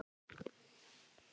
Nei, nei, sagði Lási.